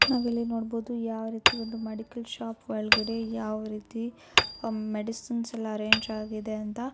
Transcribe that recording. ನಾವ್ ಇಲ್ಲಿ ನೋಡಬಹುದು ಯಾವ ರೀತಿ ಒಂದು ಮೆಡಿಕಲ್ ಶಾಪ್ ಒಳಗಡೆ ಯಾವ ರೀತಿ ಮೆಡಿಸಿನ್ ಎಲ್ಲಾ ಅರೇಂಜ್ ಆಗಿದೆ ಅಂತ.